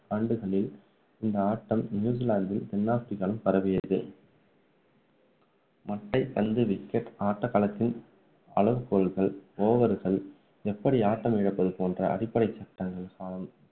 ஆண்டுகளில் இந்த ஆட்டம் நியூசிலாந்து தென் ஆப்ரிக்காவிலும் பரவியது மட்டைபந்து wicket ஆட்ட களத்தின் அளவுகோல்கள் over கள் எப்படி ஆட்டம் இழப்பது போன்ற அடிப்படை சட்டங்கள் காலம்